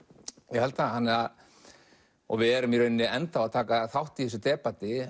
ég held það við erum í rauninni ennþá að taka þátt í þessu